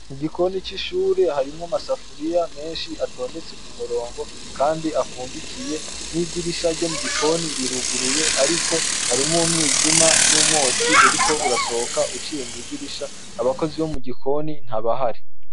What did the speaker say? Igikoni c'ishuri, harimwo amasafuriya menshi atondetse k'umurongo kandi afundikiye. N'idirisha ryo mugiko riruguruye, ariko harimwo umwijima n'umwotsi uriko urasohoka uciye mw'idirisha. Abakozi bo mu gikoni ntabahari.